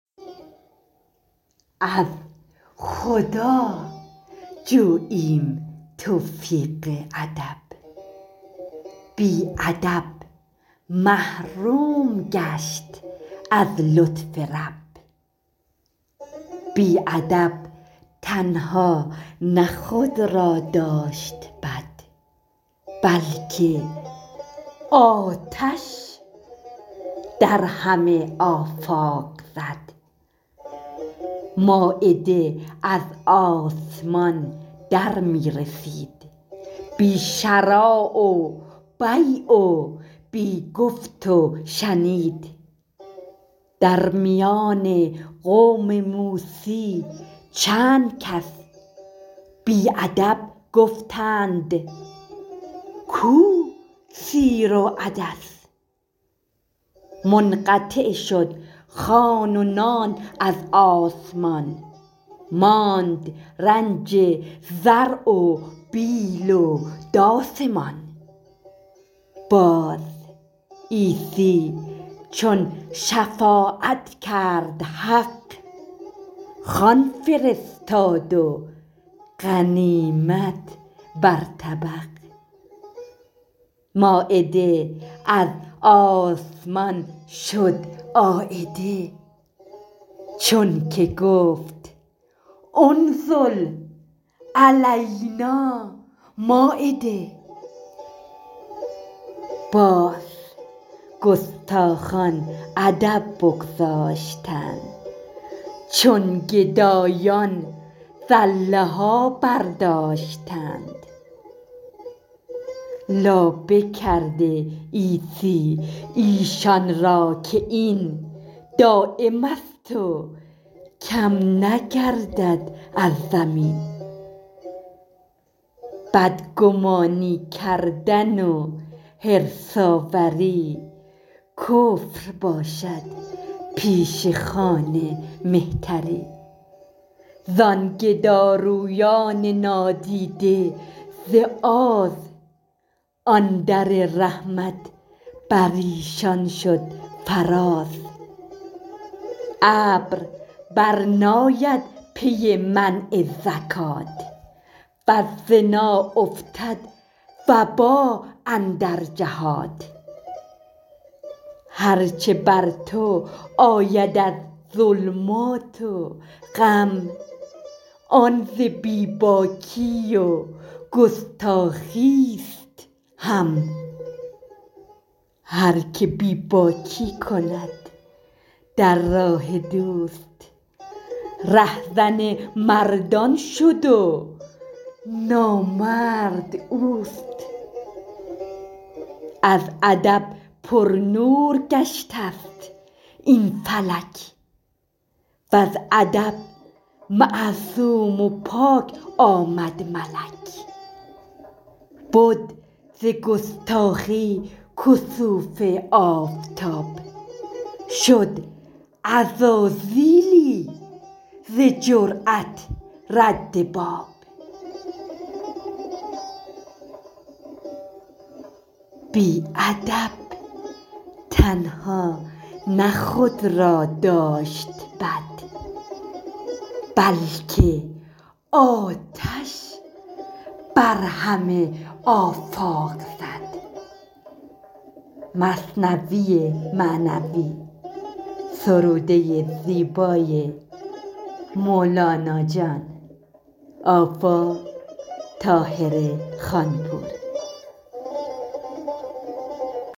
از خدا جوییم توفیق ادب بی ادب محروم گشت از لطف رب بی ادب تنها نه خود را داشت بد بلکه آتش در همه آفاق زد مایده از آسمان در می رسید بی شری و بیع و بی گفت و شنید در میان قوم موسی چند کس بی ادب گفتند کو سیر و عدس منقطع شد خوان و نان از آسمان ماند رنج زرع و بیل و داس مان باز عیسی چون شفاعت کرد حق خوان فرستاد و غنیمت بر طبق مایده از آسمان شد عایده چون که گفت انزل علینا مایده باز گستاخان ادب بگذاشتند چون گدایان زله ها برداشتند لابه کرده عیسی ایشان را که این دایمست و کم نگردد از زمین بدگمانی کردن و حرص آوری کفر باشد پیش خوان مهتری زان گدارویان نادیده ز آز آن در رحمت بریشان شد فراز ابر بر ناید پی منع زکات وز زنا افتد وبا اندر جهات هر چه بر تو آید از ظلمات و غم آن ز بی باکی و گستاخیست هم هر که بی باکی کند در راه دوست ره زن مردان شد و نامرد اوست از ادب پرنور گشته ست این فلک وز ادب معصوم و پاک آمد ملک بد ز گستاخی کسوف آفتاب شد عزازیلی ز جرات رد باب